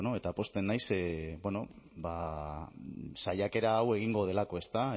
eta pozten naiz saiakera hau egingo delako ezta